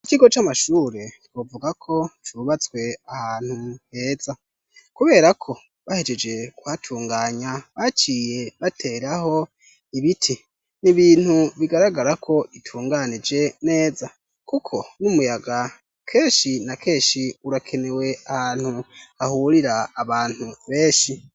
Ikigo c'amashure twovuga ko cubatswe ahantu heza kuberako bahejeje kuhatunganya, baciye bateraho ibiti. Ni ibintu bigaragara ko bitunganije neza kuko n'umuyaga kenshi na kenshi urakenewe ahantu hahurira abantu benshi.